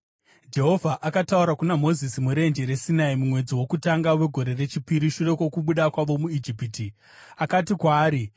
Jehovha akataura kuna Mozisi murenje reSinai mumwedzi wokutanga wegore rechipiri shure kwokubuda kwavo muIjipiti. Akati kwaari,